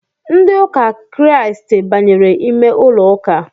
Ndị ụka kiriasti banyere ime ụlọụka